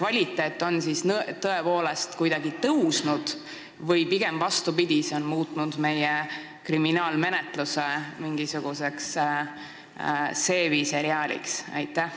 Kas uurimise kvaliteet on tõepoolest kuidagi tõusnud või pigem vastupidi – meie kriminaalmenetlus on muudetud mingisuguseks seebiseriaaliks?